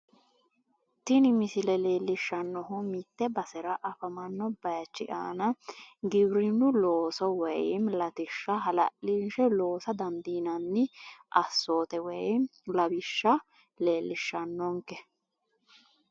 Tini misile leellishshannohu mitte basera afamanno baayiichi aana giwirinnu looso woy latishsha hala'linshe loosa dandiinanni assoote woy lawishsha leellishshannonke.